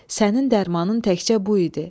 Sənin dərmanım təkcə bu idi.